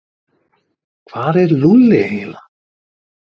Hvar var Lúlli eiginlega?